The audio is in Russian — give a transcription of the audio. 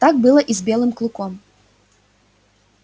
так было и с белым клыком